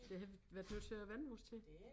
Det har vi været nødt til at vænne os til